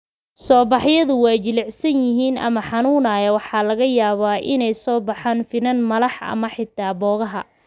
Soobaxyadu waa jilicsan yihiin ama xanuunayaan waxaana laga yaabaa inay soo baxaan finan, malax ama xitaa boogaha.